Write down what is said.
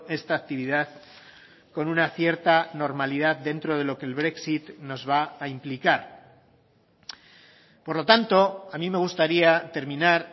esta actividad con una cierta normalidad dentro de lo que el brexit nos va a implicar por lo tanto a mí me gustaría terminar